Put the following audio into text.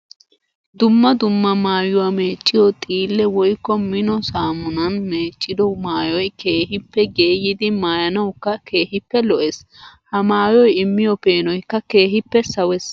Dumma dumma maayuwa meeciyo xiille woykko mino saamunan meeciddo maayoy keehippe geeyiddi maayanawukka keehippe lo'ees. Ha maayoy immiyo peenoykka keehippe sawees.